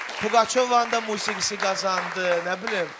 Pugaçovanın da musiqisi qazandı, nə bilim.